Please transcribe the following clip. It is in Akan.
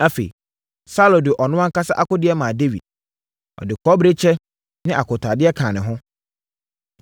Afei, Saulo de ɔno ankasa akodeɛ maa Dawid. Ɔde kɔbere kyɛ ne akotaadeɛ kaa ne ho.